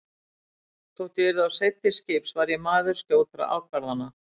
Þótt ég yrði of seinn til skips var ég maður skjótra ákvarðana.